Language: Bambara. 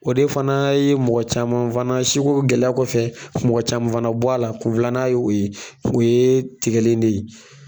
O de fana ye mɔgɔ caman fana sugu gɛlɛya kɔfɛ mɔgɔ caman fana bɔ a la kun filanan ye o ye o yee tigɛli in de ye